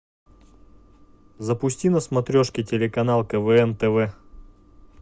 запусти на смотрешке телеканал квн тв